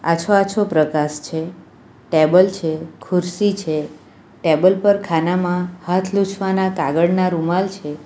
આછો-આછો પ્રકાશ છે ટેબલ છે ખુરશી છે ટેબલ પર ખાનામાં હાથ લુછવાના કાગળના રૂમાલ છે.